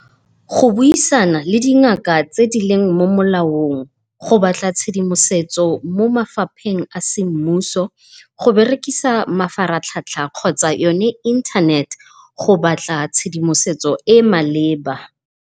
Go buisana le dingaka tse dileng mo molaong, go batla tshedimosetso mo mafapheng a semmuso, go berekisa mafaratlhatlha kgotsa yone internet go batla tshedimosetso e e maleba.